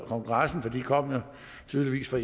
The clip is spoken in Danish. kongressen for de kom jo tydeligvis fra